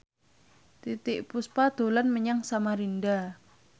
Titiek Puspa dolan menyang Samarinda